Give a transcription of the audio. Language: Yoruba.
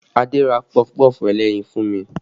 Adé ra pọfupọ́ọ̀fù ẹlẹ́yin fún mi